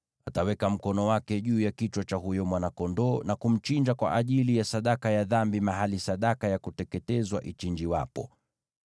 Ataweka mkono wake juu ya kichwa cha huyo mwana-kondoo na kumchinja kwa ajili ya sadaka ya dhambi mahali sadaka ya kuteketezwa huchinjiwa.